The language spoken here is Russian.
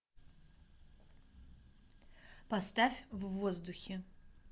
поставь в воздухе